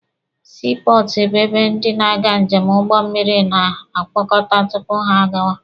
Sii pọọtụ bụ ebe ndị na-aga njem n'ụgbọ mmịrị na-akpọkọta tupu ha agawa.